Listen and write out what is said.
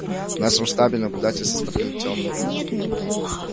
в нашем штабе наблюдатель со стороны тёмных